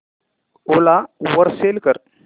ओला वर सेल कर